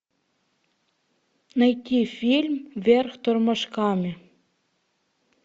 найти фильм вверх тормашками